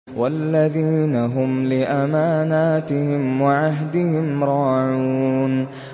وَالَّذِينَ هُمْ لِأَمَانَاتِهِمْ وَعَهْدِهِمْ رَاعُونَ